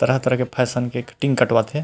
तरह-तरह के फैशन के कटिंग कटवात हे ।